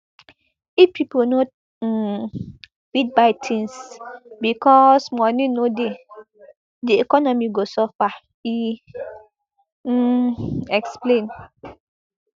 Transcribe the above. if pipo no um fit buy tins becos money no dey di economy go suffer e um explain